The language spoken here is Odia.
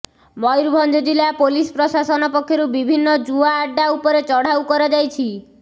ମୟୂରଭଞ୍ଜ ଜିଲ୍ଲା ପୋଲିସ ପ୍ରଶାସନ ପକ୍ଷରୁ ବିଭିନ୍ନ ଜୁଆ ଆଡ୍ଡା ଉପରେ ଚଢ଼ାଉ କରାଯାଇଛି